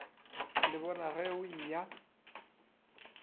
le bona ge o eya